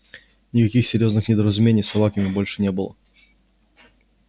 никаких серьёзных недоразумений с собаками больше не было